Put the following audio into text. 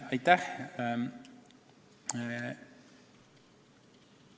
Aitäh!